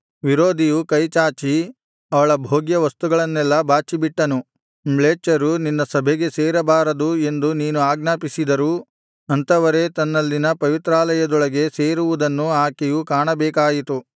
ವಿರೋಧಿಯು ಕೈಚಾಚಿ ಅವಳ ಭೋಗ್ಯವಸ್ತುಗಳನ್ನೆಲ್ಲಾ ಬಾಚಿಬಿಟ್ಟನು ಮ್ಲೇಚ್ಛರು ನಿನ್ನ ಸಭೆಗೆ ಸೇರಬಾರದು ಎಂದು ನೀನು ಆಜ್ಞಾಪಿಸಿದರೂ ಅಂಥವರೇ ತನ್ನಲ್ಲಿನ ಪವಿತ್ರಾಲಯದೊಳಗೆ ಸೇರುವುದನ್ನು ಆಕೆಯು ಕಾಣಬೇಕಾಯಿತು